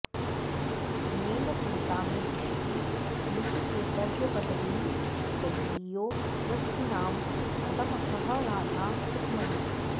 अनेन प्रीता मे दिशति निजकैङ्कर्यपदवीं दवीयो दृष्टिनां पदमहह राधा सुखमयी